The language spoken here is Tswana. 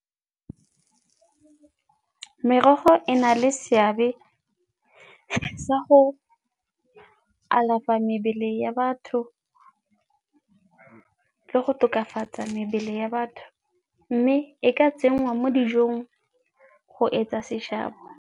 Merogo e na le seabe sa go alafa mebele ya batho le go tokafatsa mebele ya batho mme e ka tsenngwa mo dijong go etsa seshabo.